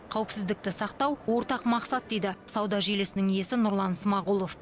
қауіпсіздікті сақтау ортақ мақсат дейді сауда желісінің иесі нұрлан смағұлов